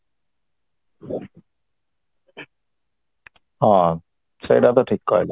ହଁ ସେଇଟା ତ ଠିକ କହିଲ